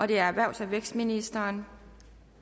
det er erhvervs og vækstministeren